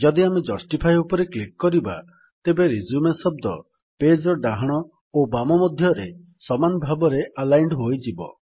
ଯଦି ଆମେ ଜଷ୍ଟିଫାଏ ଉପରେ କ୍ଲିକ୍ କରିବା ତେବେ ରିଜ୍ୟୁମ ଶବ୍ଦ ପେଜ୍ ର ଡାହାଣ ଓ ବାମ ମଧ୍ୟରେ ସମାନ ଭାବରେ ଆଲାଇଣ୍ଡ୍ ହୋଇଯିବ